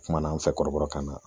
Kumana an fɛ kɔrɔbɔrɔkan na